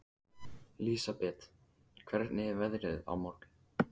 Lísebet, hvernig er veðrið á morgun?